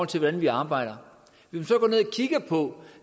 til hvordan vi arbejder